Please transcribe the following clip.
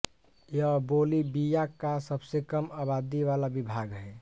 यह बोलिविया का सबसे कम आबादी वाला विभाग है